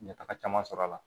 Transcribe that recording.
N ye taga caman sɔrɔ a la